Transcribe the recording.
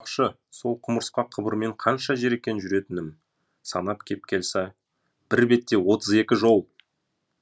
айтпақшы сол құмырсқа қыбырмен қанша жер екен жүретінім санап кеп қалса бір бетте отыз екі жол